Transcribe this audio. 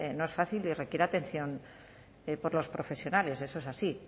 no es fácil y requiere atención por los profesionales eso es así